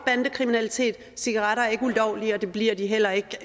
bandekriminalitet cigaretter er ikke ulovlige og det bliver de heller ikke